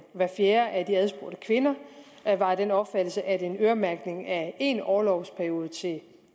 hver fjerde af de adspurgte kvinder var af den opfattelse at en øremærkning af én orlovsperiode til